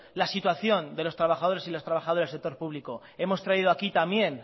la situación de los trabajadores y las trabajadoras del sector público hemos traído aquí también